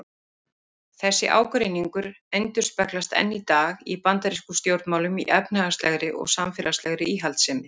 Þessi ágreiningur endurspeglast enn í dag í bandarískum stjórnmálum í efnahagslegri og samfélagslegri íhaldssemi.